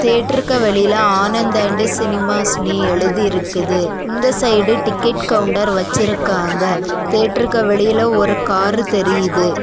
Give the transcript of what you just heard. தியேட்டருக்கு வெளியில ஆனந்த் அண்ட் சினிமாஸ்னு எழுதி இருக்குது. இந்த சைடு டிக்கெட் கவுண்டர் வச்சிருக்காங்க. தியேட்டருக்கு வெளியில ஒரு காரு தெரியுது.